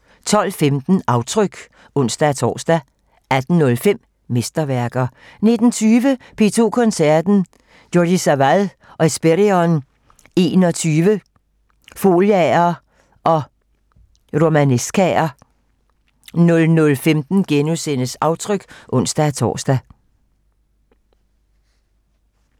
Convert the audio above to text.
12:15: Aftryk (ons-tor) 18:05: Mesterværker 19:20: P2 Koncerten - Jordi Savall og Hespèrion XXI - Foliaer & Romanescaer 00:15: Aftryk *(ons-tor)